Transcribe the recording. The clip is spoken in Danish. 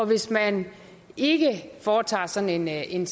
hvis man ikke foretager sådan en